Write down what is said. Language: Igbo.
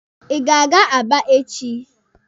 Ị ga-aga Aba echi!